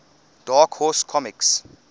dark horse comics